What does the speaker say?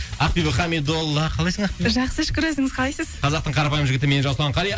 ақбибі хамидолла қалайсың ақбибі жақсы шүкір өзіңіз қалайсыз қазақтың қарапайым жігітімен жасұлан қали